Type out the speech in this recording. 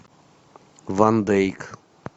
ван дейк